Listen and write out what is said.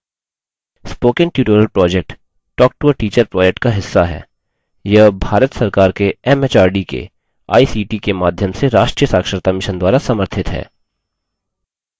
spoken tutorial project talktoateacher project का हिस्सा है यह भारत सरकार के एमएचआरडी के आईसीटी के माध्यम से राष्ट्रीय साक्षरता mission द्वारा समर्थित है